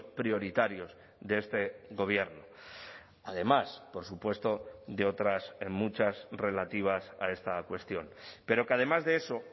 prioritarios de este gobierno además por supuesto de otras en muchas relativas a esta cuestión pero que además de eso